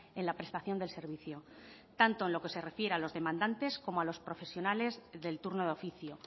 en la prestación del servicio tanto en lo que se refiere a los demandantes como a los profesionales del turno de oficio